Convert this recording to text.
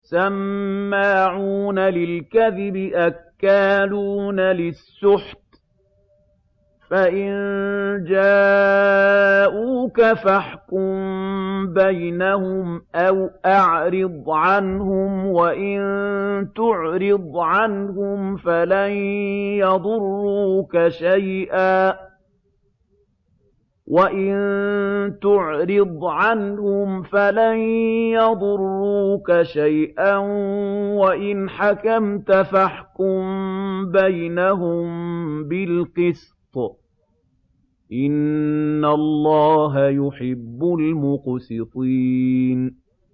سَمَّاعُونَ لِلْكَذِبِ أَكَّالُونَ لِلسُّحْتِ ۚ فَإِن جَاءُوكَ فَاحْكُم بَيْنَهُمْ أَوْ أَعْرِضْ عَنْهُمْ ۖ وَإِن تُعْرِضْ عَنْهُمْ فَلَن يَضُرُّوكَ شَيْئًا ۖ وَإِنْ حَكَمْتَ فَاحْكُم بَيْنَهُم بِالْقِسْطِ ۚ إِنَّ اللَّهَ يُحِبُّ الْمُقْسِطِينَ